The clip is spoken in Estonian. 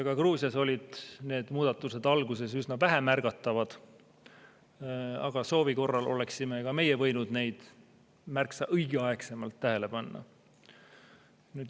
Ka Gruusias olid need muudatused alguses üsna vähemärgatavad, soovi korral oleksime ka meie võinud neid märksa varem tähele panna.